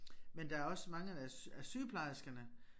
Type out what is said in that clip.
Men der også mange af af sygeplejerskerne